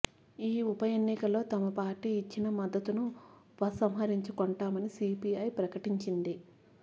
ఈ ఉప ఎన్నికల్లో తమ పార్టీ ఇచ్చిన మద్దతును ఉపసంహరించుకొంటామని సీపీఐ ప్రకటించింది